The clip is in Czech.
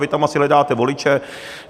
Vy tam asi hledáte voliče.